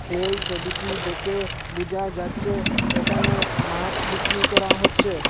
এই ছবিটি দেখে বুজা যাচ্চে এখানে মাছ বিক্রি করা হচ্ছে।